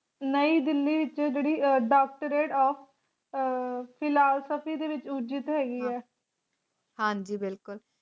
ਨਈਂ ਦਿੱਲੀ ਵਿਚ ਜਿਹੜੀ ਅਹ Doctorate Of Philosophy ਹੈਗੀ ਹੈ